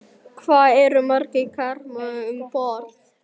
Sighvatur Jónsson: Hvað eru margir karlar um borð núna?